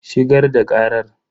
Shigar da karar.